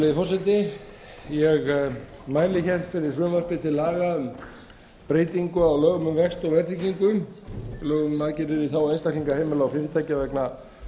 virðulegi forseti ég mæli fyrir frumvarpi til laga um breytingu á lögum um vexti og verðtryggingu lögum um aðgerðir í þágu einstaklinga heimila og fyrirtækja vegna